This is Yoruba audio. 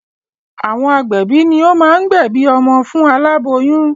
Àwọn agbẹ̀bí ni o máa ń gbẹ̀bí ọmọ fún aláboyún